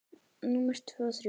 Númer tvö og þrjú.